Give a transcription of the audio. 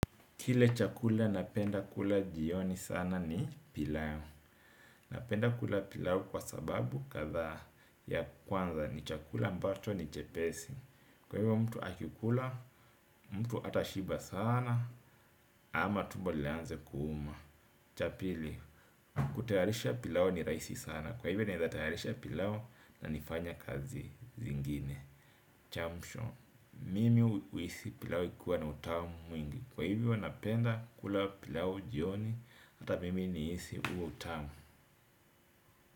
Kile chakula napenda kula jioni sana ni pilau. Napenda kula pilau kwa sababu kadhaa ya kwanza ni chakula ambacho ni chepesi. Kwa hivyo mtu akikula, mtu atashiba sana ama tumbo lianze kuuma. Cha pili, kutayarisha pilau ni rahisi sana. Kwa hivyo naeza tayarisha pilau na nifanye kazi zingine. Cha mwisho, mimi huhisi pilau ikiwa na utamu mwingi. Kwa hivi napenda kula pilau jioni. Hata mimi nihisi huo utamu.